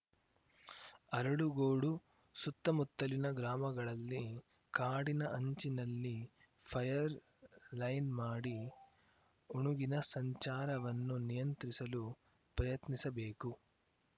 ಅರಳುಗೋಡು ಸುತ್ತಮುತ್ತಲಿನ ಗ್ರಾಮಗಳಲ್ಲಿ ಕಾಡಿನ ಅಂಚಿನಲ್ಲಿ ಫಯರ್‌ ಲೈನ್‌ ಮಾಡಿ ಉಣುಗಿನ ಸಂಚಾರವನ್ನು ನಿಯಂತ್ರಿಸಲು ಪ್ರಯತ್ನಿಸಬೇಕು